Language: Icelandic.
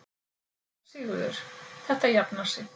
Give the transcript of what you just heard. SÉRA SIGURÐUR: Þetta jafnar sig.